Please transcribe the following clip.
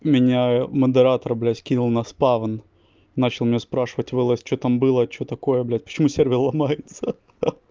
меня модератор блять кинул на спавн начал меня спрашивать в лс что там было что такое блять почему сервер ломается